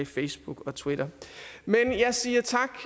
facebook og twitter men jeg siger tak